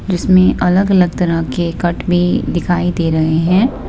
इसमें अलग-अलग तरह के कट भी दिखाई दे रहे हैं।